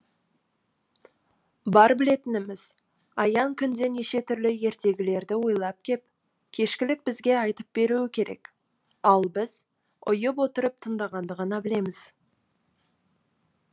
бар білетініміз аян күнде неше түрлі ертегілерді ойлап кеп кешкілік бізге айтып беруі керек ал біз ұйып отырып тыңдағанды ғана білеміз